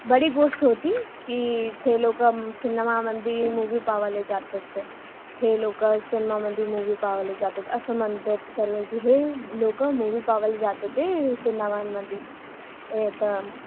मोठी गोष्ट आहे कि ते लोक सिनेमा मध्ये मुवि बघायला जात होते हम्म असं महंत होते सर्वे कि हे लोक मुवि बघायला सिनेमा मध्ये जात होते